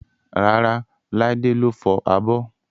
Rárá, Laide ló fọ abọ́